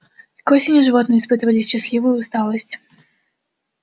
к осени животные испытывали счастливую усталость